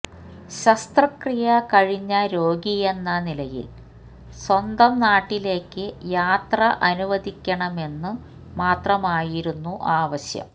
ശസ്ത്രക്രീയ കഴിഞ്ഞ രോഗിയെന്ന നിലയിൽ സ്വന്തം നാട്ടിലേക്ക് യാത്ര അനുവദിക്കണമെന്നു മാത്രമായിരുന്നു ആവശ്യം